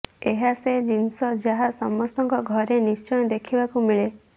ଏହା ସେ ଜିନିଷ ଯାହା ସମସ୍ତଙ୍କ ଘରେ ନିଶ୍ଚୟ ଦେଖିବାକୁ ମିଳେ